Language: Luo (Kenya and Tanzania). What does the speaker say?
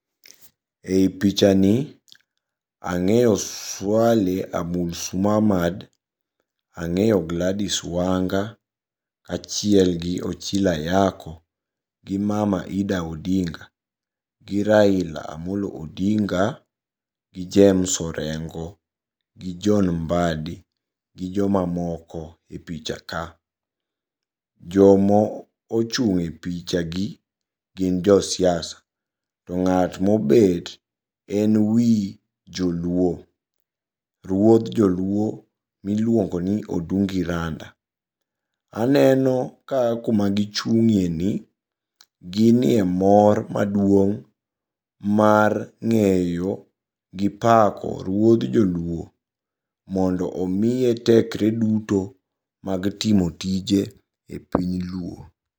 Ei pichani ang'eyo Swaleh Abdulslamad, ang'eyo Gladys Wanga, achielgi Ochilo Ayacko, gi mama Ida Odinga, gi Raila Amolo Odinga, gi James Orengo, gi John Mbadi gi jomamoko e pichaka. Jomo ochung' e pichagi gin josiasa to ng'at mobet en wi joluo. Ruoth joluo miluongoni Odungi Randa. Aneno ka kuma gichung'ieni ginie mor maduong' mar ng'eyo gi pako ruoth joluo mondo omiye tekre duto mag timo tije e piny luo.